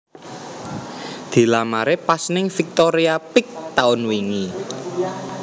Dilamare pas ning Victoria Peek taun wingi